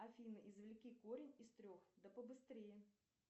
афина извлеки корень из трех да побыстрее